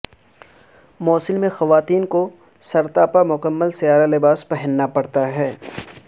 موصل میں خواتین کو سر تا پا مکمل سیاہ لباس پہننا پڑتا ہے